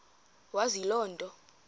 wazi loo nto